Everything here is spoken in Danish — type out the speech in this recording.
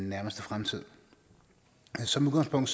nærmeste fremtid som udgangspunkt